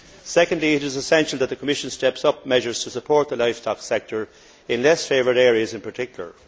Secondly, it is essential that the Commission steps up measures to support the livestock sector in less favoured areas, in particular.